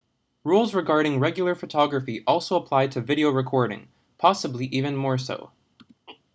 rules regarding regular photography also apply to video recording possibly even more so